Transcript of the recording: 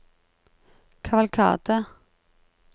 kavalkade